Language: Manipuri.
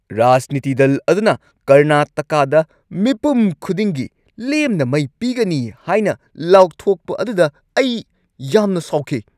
ꯔꯥꯖꯅꯤꯇꯤ ꯗꯜ ꯑꯗꯨꯅ ꯀꯔꯅꯥꯇꯀꯥꯗ ꯃꯤꯄꯨꯝ ꯈꯨꯗꯤꯡꯒꯤ ꯂꯦꯝꯅ ꯃꯩ ꯄꯤꯒꯅꯤ ꯍꯥꯏꯅ ꯂꯥꯎꯊꯣꯛꯄ ꯑꯗꯨꯗ ꯑꯩ ꯌꯥꯝꯅ ꯁꯥꯎꯈꯤ꯫